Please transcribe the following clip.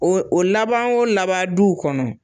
O o laban wo laban duw kɔnɔ